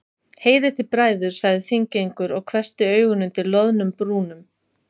Heyrið þið bræður, sagði Þingeyingur og hvessti augun undir loðnum brúnum.